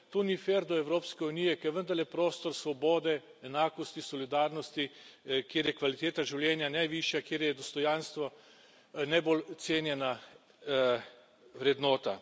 To ni fer do Evropske unije, ki je vendarle prostor svobode, enakosti, solidarnosti, kjer je kvaliteta življenja najvišja, kjer je dostojanstvo najbolj cenjena vrednota.